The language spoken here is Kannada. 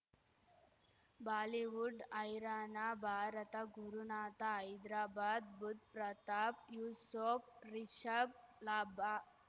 ಬಾಲಿವುಡ್ ಹೈರಾಣ ಭಾರತ ಗುರುನಾಥ ಹೈದ್ರಾಬಾದ್ ಬುಧ್ ಪ್ರತಾಪ್ ಯೂಸುಫ್ ರಿಷಬ್ ಲಾಭ